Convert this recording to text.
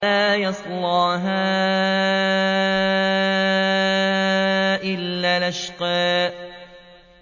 لَا يَصْلَاهَا إِلَّا الْأَشْقَى